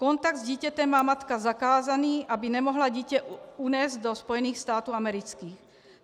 Kontakt s dítětem má matka zakázaný, aby nemohla dítě unést do Spojených států amerických.